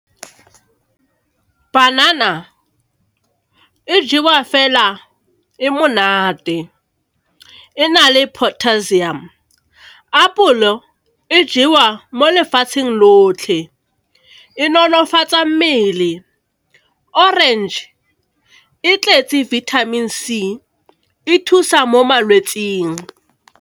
Banana e jewa fela e monate, e na le potassium. Apolo e jewa mo lefatsheng lotlhe, e nonofatsa mmele. Orange e tletse vitamin C, e thusa mo malwetsing.